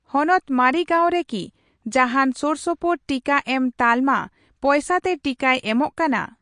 ᱦᱚᱱᱚᱛ ᱢᱟᱨᱤᱜᱟᱹᱣᱩᱱ ᱨᱮ ᱠᱤ ᱡᱟᱦᱟᱱ ᱥᱳᱨᱥᱳᱯᱳᱨ ᱴᱤᱠᱟᱹᱮᱢ ᱛᱟᱞᱢᱟ ᱯᱚᱭᱥᱟ ᱛᱮ ᱴᱤᱠᱟᱹᱭ ᱮᱢᱚᱜ ᱠᱟᱱᱟ ?